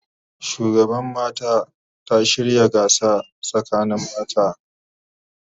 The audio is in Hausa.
Shugaban mata ta shirya gasa sakanin mata